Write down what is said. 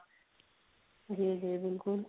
ਜੀ ਜੀ ਬਿਲਕੁਲ